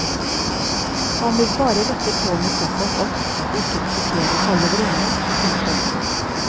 Han vil bare rette tårnet såpass opp at det ikke risikerer å falle overende. punktum